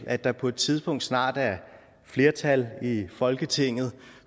at der på et tidspunkt snart er flertal i folketinget